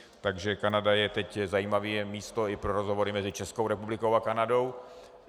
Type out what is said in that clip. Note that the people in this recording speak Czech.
Takže Kanada je teď zajímavé místo i pro rozhovory mezi Českou republikou a Kanadou.